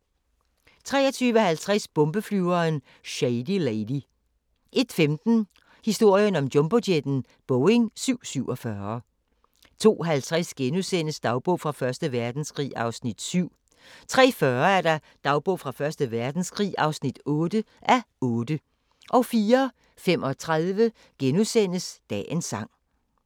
23:50: Bombeflyveren Shady Lady 01:15: Historien om jumbojetten – Boeing 747 02:50: Dagbog fra Første Verdenskrig (7:8)* 03:40: Dagbog fra Første Verdenskrig (8:8) 04:35: Dagens sang *